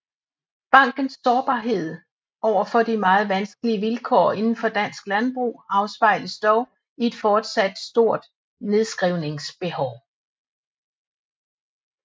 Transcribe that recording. Bankens sårbarhed over for de meget vanskelige vilkår inden for dansk landbrug afspejles dog i et fortsat stort nedskrivningsbehov